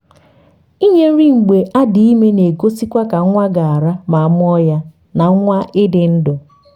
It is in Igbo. ịnye nri mgbe adị ime na egosikwa ka nwa ga ra ma amụọ ya na nwa ịdị ndụ